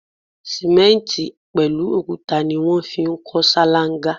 Simenti pẹlu òkúta ni wọn fi ń kọ ṣalanga